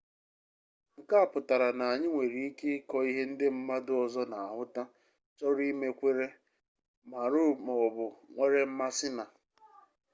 nke a pụtara na anyị nwere ike ịkọ ihe ndị mmadu ọzọ na-ahụta chọrọ ime kweere maara maọbu nwere mmasi na